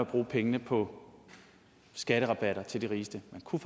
bruge pengene på skatterabatter til de rigeste man kunne